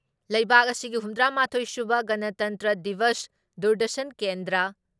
ꯂꯩꯕꯥꯛ ꯑꯁꯤꯒꯤ ꯍꯨꯝꯗ꯭ꯔꯥ ꯃꯥꯊꯣꯏ ꯁꯨꯕ ꯒꯅꯇꯟꯇ꯭ꯔ ꯗꯤꯕꯁ ꯗꯨꯔꯗꯔꯁꯟ ꯀꯦꯟꯗ꯭ꯔ